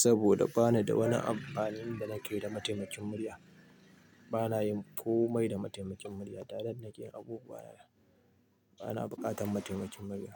saboda ba na da wani amfanin da nake da mataimakin murya. Ba na yin komai da mataimakin murya. Direct nake yin abubuwa. Ba na buƙatar mataimakin murya.